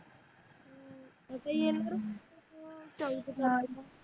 अता येनार